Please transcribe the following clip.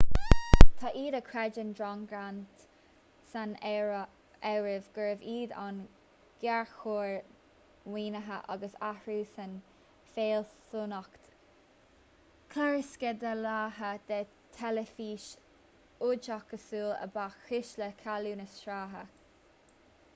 tá iad a chreideann john grant san áireamh gurbh iad an géarchor maoinithe agus athrú san fhealsúnacht chlársceidealaithe de theilifís oideachasúil a ba chúis le cealú na sraithe